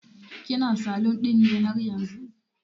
kina salun ɗin ne haryanzu?